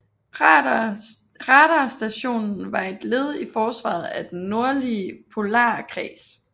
Radarstationen var et led i forsvaret af den nordlige polarkreds